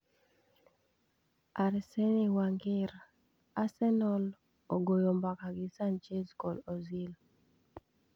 Arsene Wenger: Arsenal ogoyo mbaka gi Sanchez kod Ozil